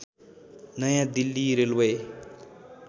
नयाँ दिल्ली रेलवे